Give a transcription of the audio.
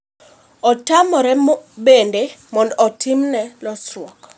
otamre bende mondo otimne losruok